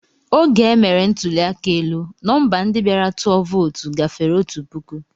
Oge e mere ntụli aka elu, nọmba ndị bịara tụọ vootu gafere otu puku.